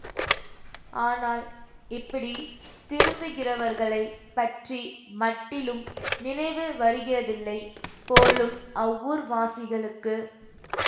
ஆனால் இப்படி திரும்புகிறவர்களைப் பற்றி மட்டிலும் நினைவு வருகிறதில்லை போலும் அவ்வூர்வாசிகளுக்கு